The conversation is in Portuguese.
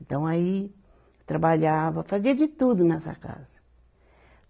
Então aí, trabalhava, fazia de tudo nessa casa.